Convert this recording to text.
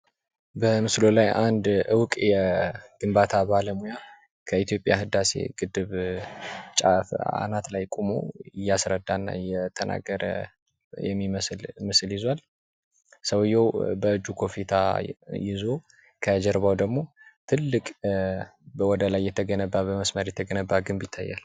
በምስሉ ላይ አንድ እውቅ የግንባታ ባለሙያ ከኢትዮጵያ ህዳሴ ግድብ ጫፍ አናት ላይ ቆሞ እያስረዳን እየተናገረ የሚመስል ምስል ይዝዋል። ሰውየው በእጁ ኮፊታ ይዞ ከጀርባው ደሞ ትልቅ በወደላይ የተገነባ በመስመር የተገነባ ግንብ ይታያል።